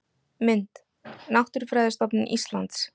Mynd: Náttúrufræðistofnun Íslands